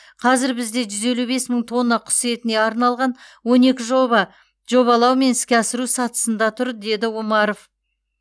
қазір бізде жүз елу бес мың тонна құс етіне арналған он екі жоба жобалау мен іске асыру сатысында тұр деді с омаров